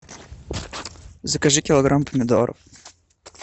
закажи килограмм помидоров